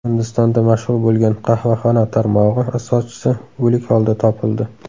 Hindistonda mashhur bo‘lgan qahvaxona tarmog‘i asoschisi o‘lik holda topildi.